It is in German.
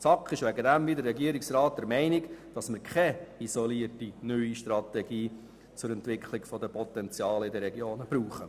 Die SAK ist deswegen wie der Regierungsrat der Meinung, dass man keine isolierte neue Strategie zur Entwicklung der Potenziale in den Regionen braucht.